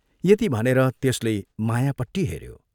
यति भनेर त्यसले मायापट्टि हेऱ्यो।